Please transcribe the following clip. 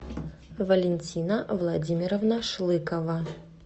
валентина владимировна шлыкова